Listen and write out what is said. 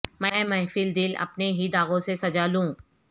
میں محفل دل اپنے ہی داغوں سے سجا لوں